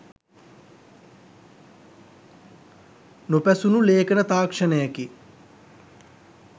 නොපැසුණු ලේඛන තාක්ෂණයකි.